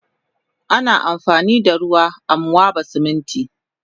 Ana amfanida ruwa amwaba Siminti